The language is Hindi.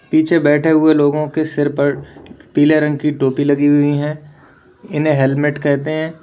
पीछे बैठे हुए लोगों के सिर पर पीले रंग की टोपी लगी हुई हैं इन्हें हेलमेट कहते हैं।